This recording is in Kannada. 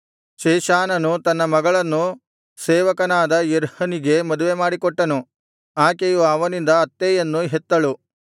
ಶೇಷಾನನು ತನ್ನ ಮಗಳನ್ನು ಸೇವಕನಾದ ಯರ್ಹನಿಗೆ ಮದುವೆಮಾಡಿಕೊಟ್ಟನು ಆಕೆಯು ಅವನಿಂದ ಅತ್ತೈಯನ್ನು ಹೆತ್ತಳು